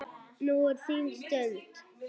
Núna er þín stund.